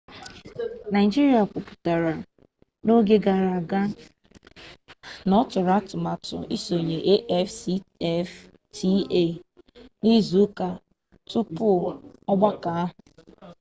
naịjiria kwuputara n'oge gara aga na ọtụrụ atụmatụ isonye afcfta n'izuka tupu ọgbakọ ahụ